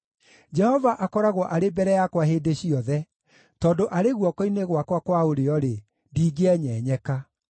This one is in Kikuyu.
Jehova akoragwo arĩ mbere yakwa hĩndĩ ciothe. Tondũ arĩ guoko-inĩ gwakwa kwa ũrĩo-rĩ, ndingĩenyenyeka.